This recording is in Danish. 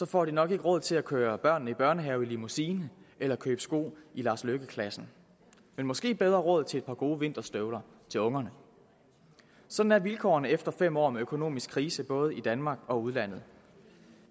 får de nok ikke råd til at køre børnene i børnehave i limousine eller købe sko i lars løkke rasmussen klassen men måske bedre råd til et par gode vinterstøvler til ungerne sådan er vilkårene efter fem år med økonomisk krise i både danmark og udlandet